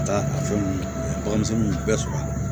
Ka taa a fɛnw baganmisɛnninw bɛɛ sɔrɔ a la